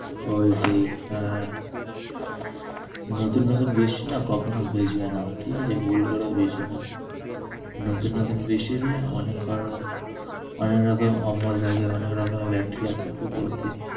ঐটাই হ্যাঁ। নতুন নতুন বৃষ্টি না কখনোই ভিজবে না, ঠিক আছে? ভুল করেও ভিজবে না। নতুন নতুন বৃষ্টিতে মনে করো অনেক রকম অম্ল থাকে, অনেক রকমের bacteria থাকে। তো ওতে